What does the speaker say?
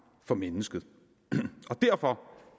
for mennesket og derfor